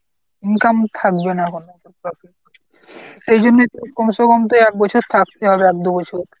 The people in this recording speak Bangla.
income থাকবে না বলে এইজন্যই কমছে কম তো একবছর থাকতেই হবে এক দু বছর।